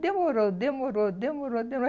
Demorou, demorou, demorou, demorou.